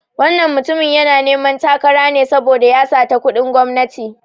Wannan mutumin yana neman takara ne saboda ya sata kuɗin gwamnati.